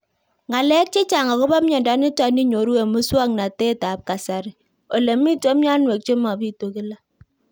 Ng'alek chechang' akopo miondo nitok inyoru eng' muswog'natet ab kasari ole mito mianwek che mapitu kila